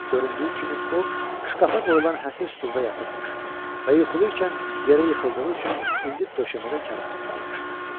Göründüyü kimi o şkafa qoyulan həsir stulda yatıbmış və yuxulu ikən yerə yıxıldığı üçün indi döşəmədə karıxıb qalmışdı.